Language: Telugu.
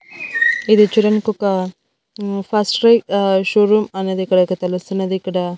ఇది కిరణ్ కొక ఫస్ట్ రై షో రూమ్ అనేది ఇక్కడ తెలుస్తున్నది ఇక్కడ--